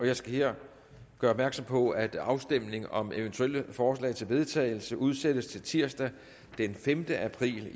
jeg skal her gøre opmærksom på at afstemning om eventuelle forslag til vedtagelse udsættes til tirsdag den femte april